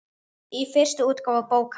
Í fyrstu útgáfu bókar